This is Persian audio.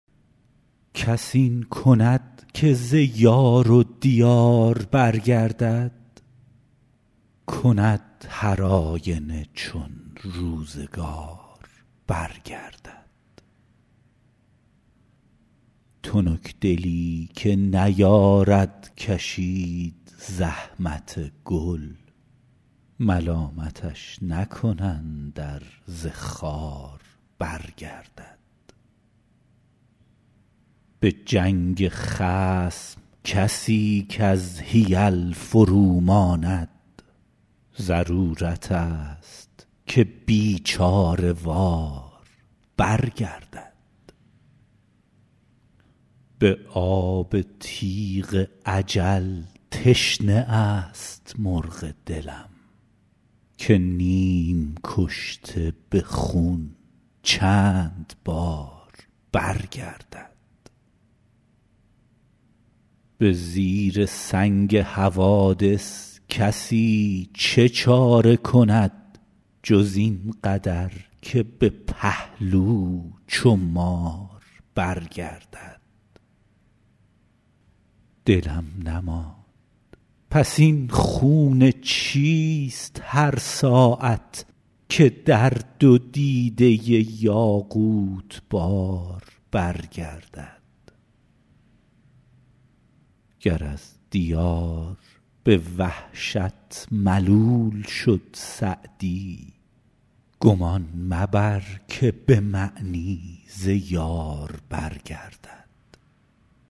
کس این کند که ز یار و دیار برگردد کند هرآینه چون روزگار برگردد تنکدلی که نیارد کشید زحمت گل ملامتش نکنند ار ز خار برگردد به جنگ خصم کسی کز حیل فروماند ضرورتست که بیچاره وار برگردد به آب تیغ اجل تشنه است مرغ دلم که نیم کشته به خون چند بار برگردد به زیر سنگ حوادث کسی چه چاره کند جز این قدر که به پهلو چو مار برگردد دلم نماند پس این خون چیست هر ساعت که در دو دیده یاقوت بار برگردد گر از دیار به وحشت ملول شد سعدی گمان مبر که به معنی ز یار برگردد